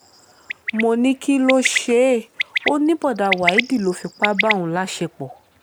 mo ní kí ló ṣe é ó ní bọ́dà waheed ló fipá bá òun láṣepọ̀